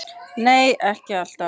Nei, ekki alltaf.